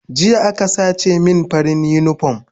Jiya aka sace min farin unipom